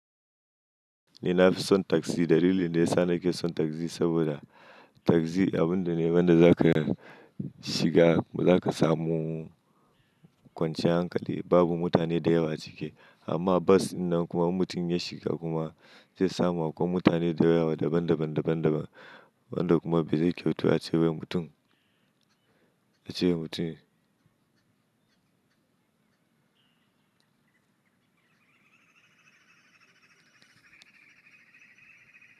Ni na fi son taksi. Dalilin da ya sa na ke son taksi saboda, taxi abun da ne, wan da za ka shiga, ba za ka samu kwanciyar hankali. Babu mutane da yawa a cike. Amma bas in an kuma in mutum ya shiga kuma zai samu akwai mutane da yawa daban daban, daban daban. Wanda kuma bai zai kyautu ace wai mutum, a cewa mutum.